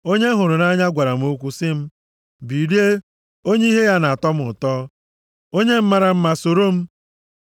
Onye m hụrụ nʼanya gwara m okwu sị m, “Bilie, onye ihe ya na-atọ m ụtọ, onye m mara mma, soro m.